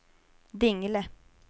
Dingle